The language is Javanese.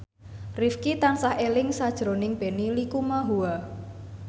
Rifqi tansah eling sakjroning Benny Likumahua